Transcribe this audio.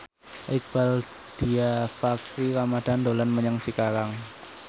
Iqbaal Dhiafakhri Ramadhan dolan menyang Cikarang